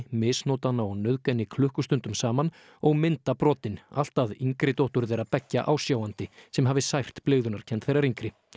misnota hana og nauðga henni klukkustundum saman og mynda brotin allt að yngri dóttur þeirra beggja ásjáandi sem hafi sært blygðunarkennd þeirrar yngri